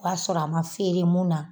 O b'a sɔrɔ a ma feere mun na.